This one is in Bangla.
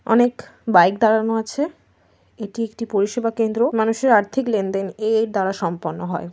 অনেক বাইক দাঁড়ানো আছে। এটি একটি পরিষেবা কেন্দ্র। মানুষের আর্থিক লেনদেন এ এর দ্বারা সম্পন্ন হয়।